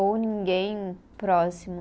Ou ninguém próximo.